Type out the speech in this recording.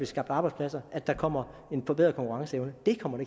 skabt arbejdspladser at der kommer en forbedret konkurrenceevne det kommer